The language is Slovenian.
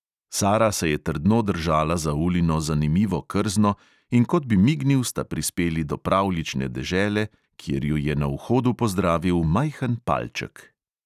Sara se je trdno držala za ulino zanimivo krzno, in kot bi mignil, sta prispeli do pravljične dežele, kjer ju je na vhodu pozdravil majhen palček.